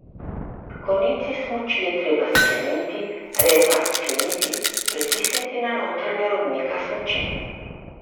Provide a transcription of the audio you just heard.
Konici smuči je treba skleniti, repa razkleniti, pritisniti na notranja robnika smuči.